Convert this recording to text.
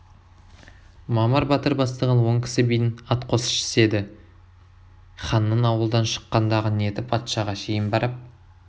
мамыр батыр бастаған он кісі бидің ат қосшысы еді ханның ауылдан шыққандағы ниеті патшаға шейін барып